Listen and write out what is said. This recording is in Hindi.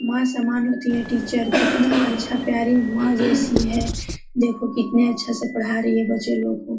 माँ सम्मान होती है टीचर कितना अच्छा प्यारी मां जैसी है देखो कितने अच्छे से पढा रही है बच्चे लोग को।